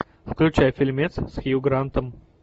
включай фильмец с хью грантом